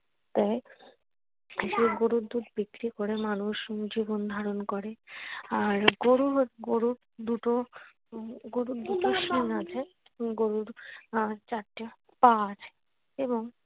দেয় গরুর দুধ বিক্রি করে মানুষ জীবন ধারন করে। আর গরুর দুটো উম গরুর দুটো শিং আছে উম গরুর আহ চারটা পা আছে এবং।